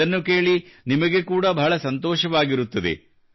ಇದನ್ನು ಕೇಳಿ ನಿಮಗೆ ಕೂಡಾ ಬಹಳ ಸಂತೋಷವಾಗಿರುತ್ತದೆ